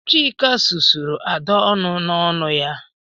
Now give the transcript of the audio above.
Chika susuru Ada ọnụ n'ọnu ya